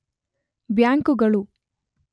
ಬ್ಯಾಂಕುಗಳು